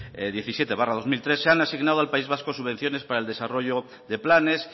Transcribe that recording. diecisiete barra dos mil tres se han asignado al país vasco subvenciones para el desarrollo de planes